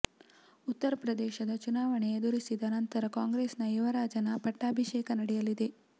ಉತ್ತರ ಪ್ರದೇಶದ ಚುನಾವಣೆ ಎದುರಿಸಿದ ನಂತರ ಕಾಂಗ್ರೆಸ್ ನ ಯುವರಾಜನ ಪಟ್ಟಾಭಿಷೇಕ ನಡೆಯಲಿದೆ